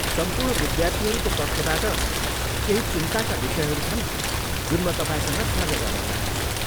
सम्पूर्ण विद्यार्थीहरूको पक्षबाट केही चिन्ताका विषयहरू छन् जुन म तपाईँसँग साझा गर्न चाहन्छु।